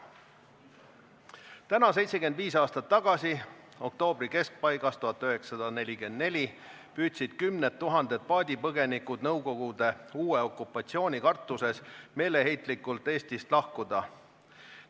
Täna 75 aastat tagasi, oktoobri keskpaigas 1944 püüdsid kümned tuhanded paadipõgenikud uue Nõukogude okupatsiooni kartuses meeleheitlikult Eestist lahkuda.